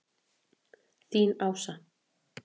Þín, Ása.